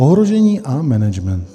Ohrožení a management.